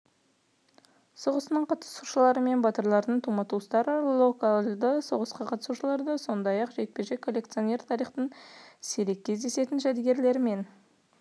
соғысының қатысушылары мен батырлардың тума-туыстары локальді соғысқа қатысушылар сондай-ақ жеке коллекционерлер тарихтың сирек кездесетін жәдігерлерімен